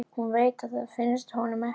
Hún veit að það finnst honum ekki.